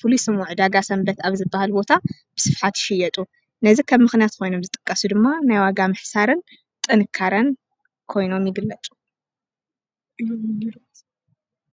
ፍሉይ ስሙ ዕ ዳጋ ሰንበት ኣብ ዝበሃል ቦታ ብስፍሓት ይሽየጡ፡፡ ነዝ ኸም ምኽንያት ኮይኖም ዝጠቀሱ ድማ ናይ ዋጋ ምሕሳርን ጥንካረን ኮይኖም ይግለፁ፡፡